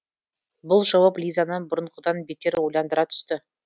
бұл жауап лизаны бұрынғыдан бетер ойландыра түсті